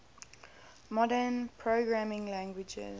modern programming languages